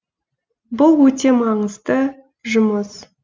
бұл өте маңызды жұмыс